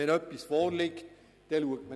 Liegt etwas vor, schaut man das an.